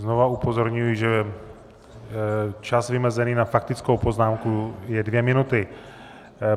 Znova upozorňuji, že čas vymezený na faktickou poznámku je dvě minuty.